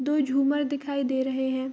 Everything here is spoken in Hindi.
दो झूमर दिखाई दे रहें हैं।